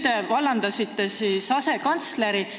Te vallandasite asekantsleri.